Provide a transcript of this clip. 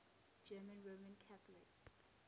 german roman catholics